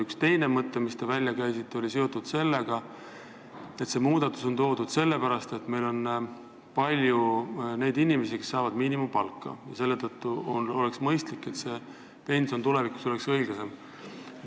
Üks teine mõte, mille te välja käisite, oli see, et seadusmuudatus tahetakse teha sellepärast, et meil on palju inimesi, kes saavad miinimumpalka, ja oleks mõistlik, et nende pension tulevikus oleks õiglasem.